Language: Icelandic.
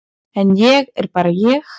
En ég er bara ég.